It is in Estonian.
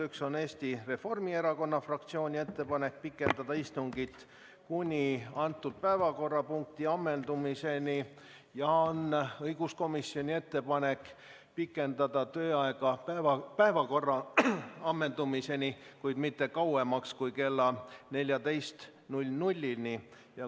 Üks on Eesti Reformierakonna fraktsiooni ettepanek pikendada istungit kuni selle päevakorrapunkti ammendumiseni ja teine on õiguskomisjoni ettepanek pikendada tööaega kogu päevakorra ammendumiseni, kuid mitte kauemaks kui kella 14-ni.